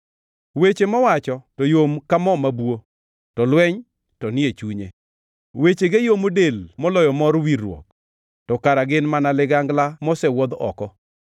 Weche mowacho to yom ka mo mabuo, to lweny to ni e chunye; wechege yomo del moloyo mor wirruok, to kara gin mana ligangla mosewuodh oko.